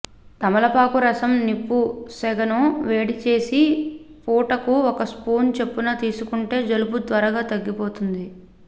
తమలపాకు రసం నిప్పు సెగను వేడిచేసి పూటకు ఒక స్పూన్ చొప్పున తీసుకుంటే జలుబు త్వరగా తగ్గిపోతుంది